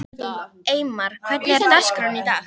Eymar, hvernig er dagskráin í dag?